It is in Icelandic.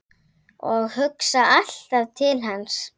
Ég hugsa alltaf til hans.